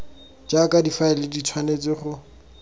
jaaka difaele di tshwanetse go